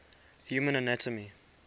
human anatomy